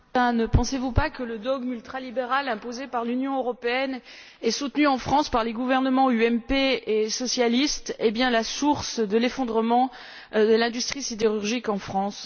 Monsieur le Président, ne pensez vous pas que le dogme ultralibéral imposé par l'Union européenne et soutenu en France par les gouvernements UMP et socialistes est bien la source de l'effondrement de l'industrie sidérurgique en France?